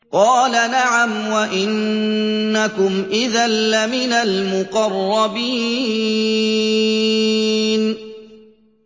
قَالَ نَعَمْ وَإِنَّكُمْ إِذًا لَّمِنَ الْمُقَرَّبِينَ